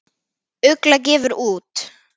Ugla gefur út.